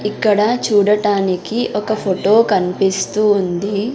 ఇక్కడ చూడటానికి ఒక ఫొటో కన్పిస్తూ ఉంది.